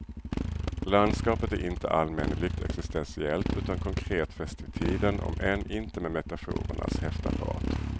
Landskapet är inte allmänneligt existentiellt utan konkret fäst vid tiden om än inte med metaforernas häftapparat.